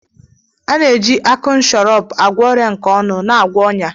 A na-eji Akun shorop agwọ ọrịa nke ọnụ, na-agwọ ọnya.